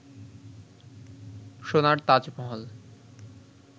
সোনার তাজমহল